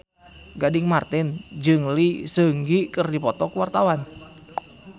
Gading Marten jeung Lee Seung Gi keur dipoto ku wartawan